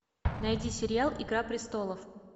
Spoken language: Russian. найди сериал игра престолов